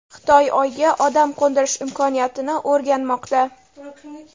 Xitoy Oyga odam qo‘ndirish imkoniyatini o‘rganmoqda.